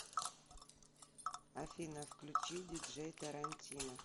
афина включи диджей тарантино